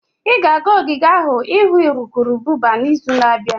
Ị ga-aga ogige ahụ ịhụ urukurubụba n'izu na-abịa?